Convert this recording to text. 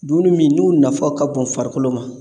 Dumuni min n'u nafa ka bon farikolo ma